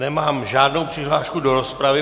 Nemám žádnou přihlášku do rozpravy.